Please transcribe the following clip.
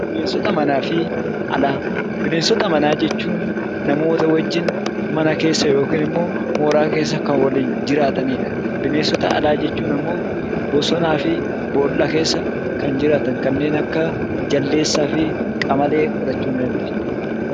Bineensota manaa jechuun namoota wajjin mana keessa yookiin immoo mooraa keessa kan waliin jiraatanidha. Bineensota alaa jechuun ammoo bosonaa fi boolla keessa kan jiraatan kanneen akka jaldeessaa fi qamalee fudhachuu ni dandeenya.